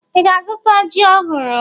Ị ga-azụta ji ọhụrụ?